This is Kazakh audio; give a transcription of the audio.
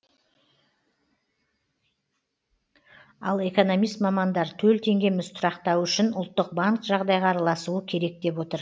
ал экономист мамандар төл теңгеміз тұрақтауы үшін ұлттық банк жағдайға араласуы керек деп отыр